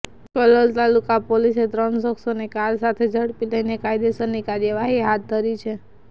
કલોલ તાલુકા પોલીસે ત્રણ શખ્સોને કાર સાથે ઝડપી લઇને કાયદેસરની કાર્યવાહી હાથ ધરી છે